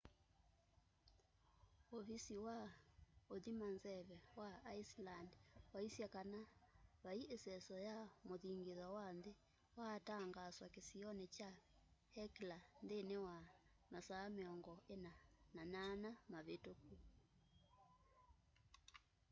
ũvisi wa ũthima nzeve wa iceland waĩsye kana vaĩ iseso ya muthingitho wa nthĩ waa tangaaswa kĩsionĩ kya hekla nthĩnĩ wa masaa 48 mavĩtũku